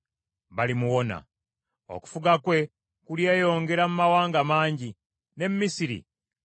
Okufuga kwe kulyeyongera mu mawanga mangi, ne Misiri nga mw’omutwalidde.